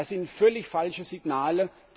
Das sind völlig falsche Signale.